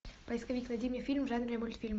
поисковик найди мне фильм в жанре мультфильм